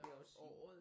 Vil jeg også sige